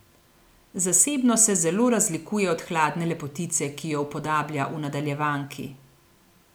Zasebno se zelo razlikuje od hladne lepotice, ki jo upodablja v nadaljevanki.